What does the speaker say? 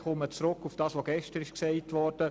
Ich komme auf das zurück, was gestern gesagt wurde.